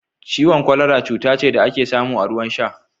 Ciwon kwalara cuta ce da ake samu a ruwan sha